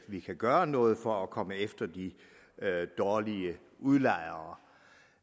vi kan gøre noget for at komme efter de dårlige udlejere